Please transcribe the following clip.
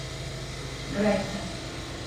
братья